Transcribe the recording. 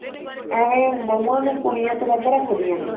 ਏਵੈ ਬਹੁਆ ਨੂੰ ਕੁੜੀਆਂ ਤੋਂ ਵੱਧ ਰੱਖਦੀਆਂ ਨੇ